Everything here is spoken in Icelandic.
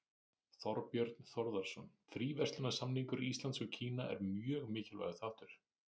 Þorbjörn Þórðarson: Fríverslunarsamningur Íslands og Kína er mjög mikilvægur þáttur?